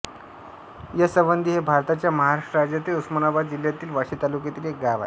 यसवंदी हे भारताच्या महाराष्ट्र राज्यातील उस्मानाबाद जिल्ह्यातील वाशी तालुक्यातील एक गाव आहे